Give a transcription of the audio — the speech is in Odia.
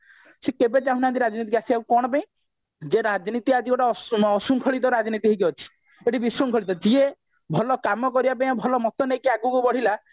ସେ କେବେ ଚାହୁଁ ନାହାନ୍ତି ରାଜନୀତିକୁ ଆସିବା ପାଇଁ କଣ ପାଇଁ ଯେ ରାଜନୀତି ଆଜି ଗୋଟେ ଅଶୃଙ୍ଖଳିତ ରାଜନୀତି ହେଇକି ଅଛି ଏଠି ବିଶୃଙ୍ଖଳିତ ଯିଏ ଭଲ କାମ କରିବା ପାଇଁ ଭଲ ମତ ନେଇକି ଆଗକୁ ବଢିଲା